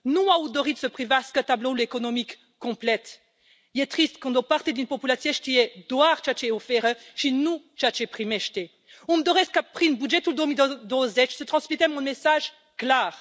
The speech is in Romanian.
Nu au dorit să privească tabloul economic complet. E trist când o parte din populație știe doar ceea ce oferă și nu ceea ce primește. Îmi doresc ca prin bugetul 2020 să transmitem un mesaj clar.